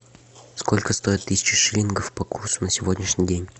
сколько стоит тысяча шиллингов по курсу на сегодняшний день